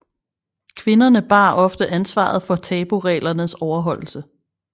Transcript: Kvinderne bar ofte ansvaret for tabureglernes overholdelse